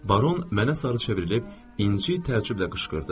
Baron mənə sarı çevrilib incə təəccüblə qışqırdı.